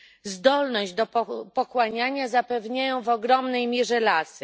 Zdolność do pochłaniania zapewniają w ogromnej mierze lasy.